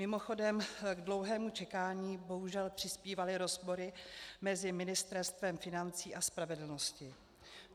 Mimochodem, k dlouhému čekání bohužel přispívaly rozpory mezi ministerstvy financí a spravedlnosti.